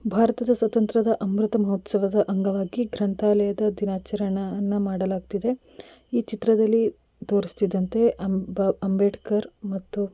ಭಾರತದ ಸ್ವತಂತ್ರದ ಅಮೃತ ಮಹೋತ್ಸವದ ಅಂಗವಾಗಿ ಗ್ರಂಥಾಲಯದ ದಿನಾಚರಣೆಯನ್ನು ಮಾಡಲಾಗುತ್ತಿದೆ ಈ ಚಿತ್ರದಲ್ಲಿ ತೋರ್ಸತಿದ್ದಂತೆ ಅಂಬೇಡ್ಕರ್ ಮತ್ತು-